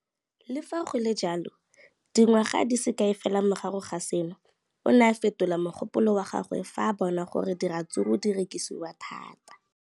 Le fa go le jalo, dingwaga di se kae fela morago ga seno, o ne a fetola mogopolo wa gagwe fa a bona gore diratsuru di rekisiwa thata.